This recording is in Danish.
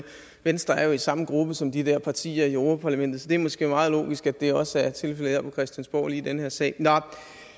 venstre er jo i samme gruppe som de der partier i europa parlamentet så det er måske meget logisk at det også er tilfældet her på christiansborg lige i den her sag nå